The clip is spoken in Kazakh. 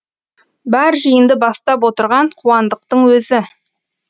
бар жиынды бастап отырған қуандықтың өзі